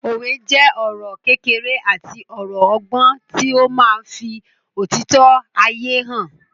Òwe jẹ́ ọ̀rọ̀ kékeré àti ọ̀rọ̀ ọgbọ́n tí ó máa ń fí òtítọ́ ayé hàn